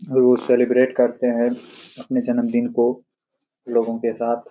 लोग सेलिब्रेट करते है अपने जन्मदिन को लोगो के साथ |